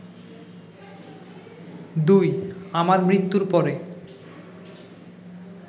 ২ আমার মৃত্যুর পরে